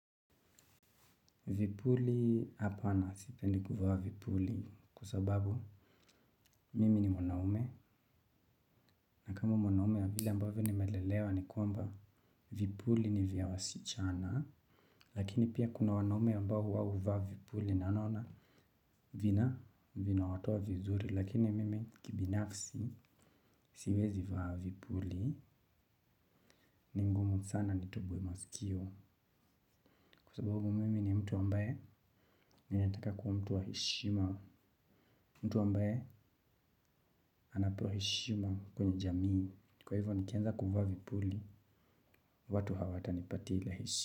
Vipuli hapana sipendi kuvaa vipuli kwasababu mimi ni mwanaume na kama mwanaume wa vile ambavyo ni melelewa ni kwamba vipuli ni vya wasichana lakini pia kuna wanaume ambao huwa huvaa vipuli na naona vina vina watowa vizuri lakini mimi kibinafsi siwezi vaa vipuli ni ngumu sana nitoboe masikio kwasababu mimi ni mtu ambaye ni nayetaka kuwa mtu wa heshima. Mtu ambaye anapewa heshima kwenye jamii. Kwa hivyo nikianza kuvaa vipuli watu hawata nipatia ile heshi.